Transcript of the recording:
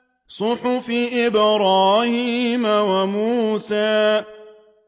صُحُفِ إِبْرَاهِيمَ وَمُوسَىٰ